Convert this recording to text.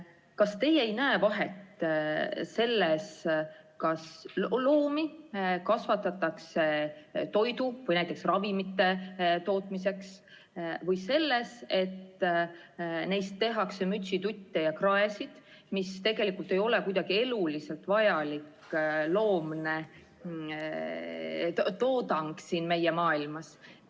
Kas teie näete vahet selles, kas loomi kasvatatakse toidu või näiteks ravimite tootmiseks või selleks, et neist tehakse mütsitutte ja kraesid, mis tegelikult ei ole kuidagi eluliselt vajalik loomne toodang siin meie maailmas?